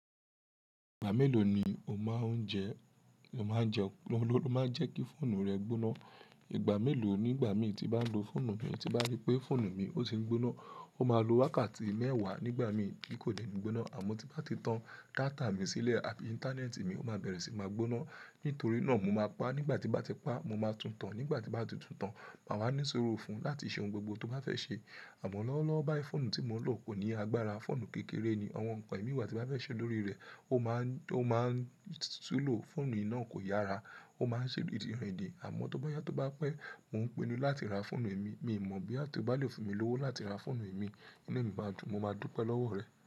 Ìgbà mélòó ni o máa ń jẹ, lo máa ń jẹ, lo máa ń jẹ́ kí fóònù rẹ gbóná? Ìgbà mélòó nígbà mi tí bá ń lo fóònù mi tí bá rí pé fóònù mi ò ti ń gbóná, ó máa lo wákàtí mẹ́wàá nígbà mi tí kò dẹ̀ ní gbóná. Àmọ́ tí bá ti tan data mi sílẹ̀ àti ìńtánẹ́ẹ̀tì mi, ó máa bẹ̀rẹ̀ sí máa gbóná. Nítorí náà mo máa pa á, nígbà tí bá ti pa á, mo máa túntàn, nígbà tí bá ti túntàn, màá ní sùúrù fún un láti ṣe ohun gbogbo tó bá fẹ́ ṣe. Àmọ́ lọ́wọ́lọ́wọ́ báyìí fóònù tí mo ń lò kò ní agbára, fóònù kékeré ni, àwọn nǹkan èmi ìgbà tí bá fẹ́ ṣe lórí rẹ̀, ó máa ń, ó máa ń tú lò, fóònù náà kò yára, ó máa ń ṣe Àmọ́ tó bá yá tó bá pẹ́, mò ń pinnu láti ra fóònù mi. Mi ò mọ̀ bí a tó bá lè fún mi lówó láti ra fóònù mi, inú mi ma dùn, mo máa dúpẹ́ lọ́wọ́ rẹ.